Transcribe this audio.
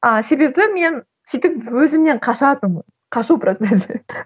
а себебі мен сөйтіп өзімнен қашатынмын қашу процесі